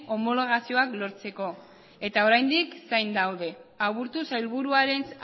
homologazioak lortzeko eta oraindik zain daude aburto sailburuaren